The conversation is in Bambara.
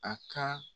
A ka